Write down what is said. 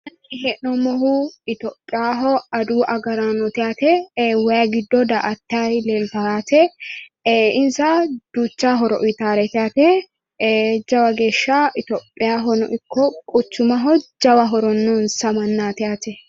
kuni xa la'nanni hee'noommohu itiyopiyaaho adawu agaraanooti yaate wayi giddo daa''atanni leeltanno yaate ee insa duucha horo uyiitaaretei yaate ee jawa geeshsha itiyopiyaahono ikko quchumaho jawa horo noonsa mannaati yaate.